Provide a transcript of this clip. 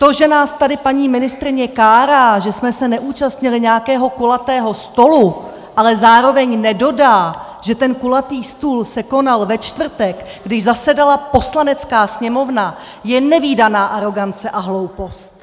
To, že nás tady paní ministryně kárá, že jsme se neúčastnili nějakého kulatého stolu, ale zároveň nedodá, že ten kulatý stůl se konal ve čtvrtek, když zasedala Poslanecká sněmovna, je nevídaná arogance a hloupost!